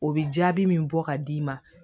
O bɛ jaabi min bɔ ka d'i ma